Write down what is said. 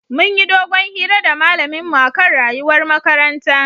Munyi dogon hira da malamin mu akan rayuwar makaranta